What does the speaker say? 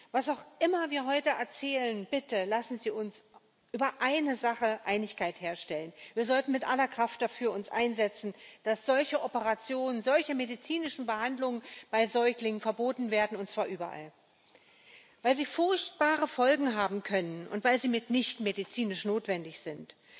Was auch immer wir heute erzählen bitte, lassen Sie uns über eine Sache Einigkeit herstellen Wir sollten uns mit aller Kraft dafür einsetzen, dass solche Operationen, solche medizinischen Behandlungen bei Säuglingen verboten werden, und zwar überall, weil sie furchtbare Folgen haben können und weil sie mitnichten medizinisch notwendig sind.